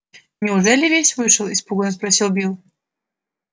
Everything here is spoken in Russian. неужели весь вышел испуганно спросил билл